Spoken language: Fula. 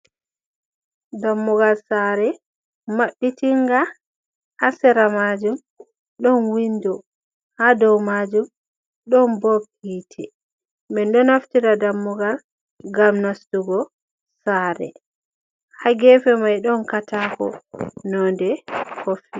Dammugal sare mabbitinga hasera majum don windo ha dow majum don bob hite, min do naftida dammugal gam nastugo sare hagefe mai don katako nonde kofi.